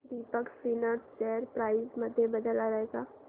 Deepak spinners share price मध्ये बदल आलाय का